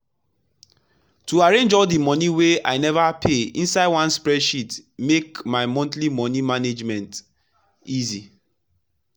to arrange all the money wey wey i never pay inside one spreadsheet make my monthly money management easy.